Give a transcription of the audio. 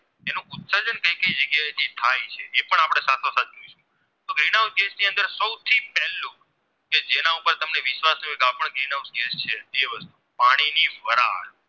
Green House નું ગણી અંદર જે સૌ થી પહેલા કે જેના ઉપર તમને વિશ્વાસ હોય કે આ પણ Green House છે પાણી ની વરાળ